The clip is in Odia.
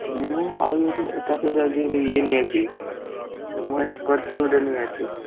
ମୁଁ ମୁଁ ଗୋଟେ Scorpio ଟେ ନେଇ ଆସିବି।